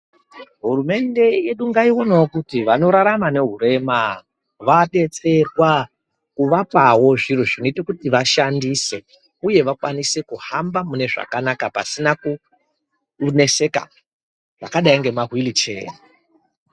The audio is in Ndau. Hurumende yedu ngaiwonewo kuti vanorarama nehurema vadetserwa kuvapawo zviro zvinoita kuti vashandise uye kuhamba zvakanaka pasina kuneseka zvakadai ngema hwilicheya.